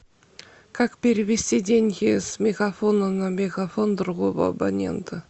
как перевести деньги с мегафона на мегафон другого абонента